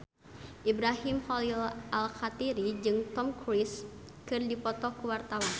Ibrahim Khalil Alkatiri jeung Tom Cruise keur dipoto ku wartawan